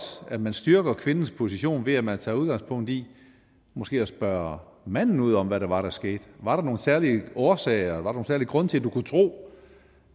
at man styrker kvindens position ved at man tager udgangspunkt i måske at spørge manden ud om hvad det var der skete var der nogle særlige årsager var der nogen særlig grund til at du kunne tro